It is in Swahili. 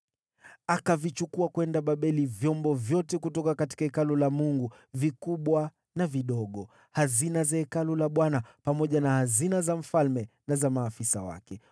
Akavichukua kwenda Babeli vyombo vyote kutoka Hekalu la Mungu, vikubwa na vidogo, hazina za Hekalu la Bwana pamoja na hazina za mfalme na za maafisa wake.